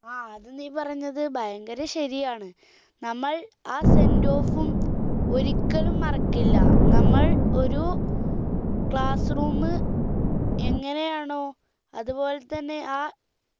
ആ അത് നീ പറഞ്ഞത് ഭയങ്കര ശരിയാണ് നമ്മൾ ആ sendoff ഉം ഒരിക്കലും മറക്കില്ല നമ്മൾ ഒരു class room എങ്ങനെ ആണോ അതുപോലെ തന്നെ ആ